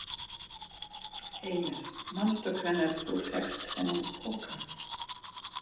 Heimir: Manstu hvenær þú fékkst þennan poka?